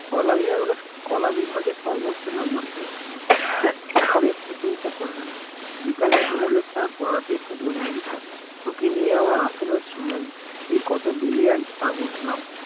কলা বিভাগ কলা বিভাগে সর্বচ্চ নাম্বার পেয়েছে সে প্রসংশা করলেন বিকালে ভুগোলের স্যার পড়াতে এসে বললেন তোকে নিয়ে আমার আশা ছিলই তুই কত brilliant তা বুঝলাম